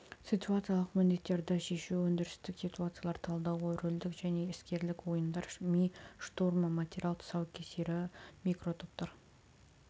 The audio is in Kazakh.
ситуациялық міндеттерді шешу өндірістік ситуациялар талдауы рөлдік және іскерлік ойындар ми штурмы материал тұсаукесері микротоптар